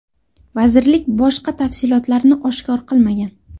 Vazirlik boshqa tafsilotlarni oshkor qilmagan.